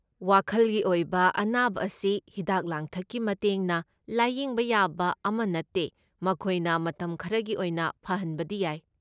ꯋꯥꯈꯜꯒꯤ ꯑꯣꯏꯕ ꯑꯅꯥꯕ ꯑꯁꯤ ꯍꯤꯗꯥꯛ ꯂꯥꯡꯊꯛꯀꯤ ꯃꯇꯦꯡꯅ ꯂꯥꯢꯌꯦꯡꯕ ꯌꯥꯕ ꯑꯃ ꯅꯠꯇꯦ, ꯃꯈꯣꯏꯅ ꯃꯇꯝ ꯈꯔꯒꯤ ꯑꯣꯏꯅ ꯐꯍꯟꯕꯗꯤ ꯌꯥꯏ꯫